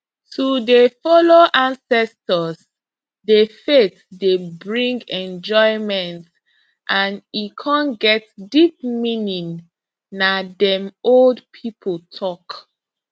to dey follow ancestors the faith dey bring enjoyment and e con get deep meaning na dem old people talk